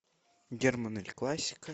герман эль классико